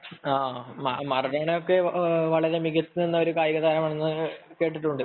Maradona ഒക്കെ നല്ല മികച്ച ഒരു കായിക താരമാണെന്നു കേട്ടിട്ടുണ്ട്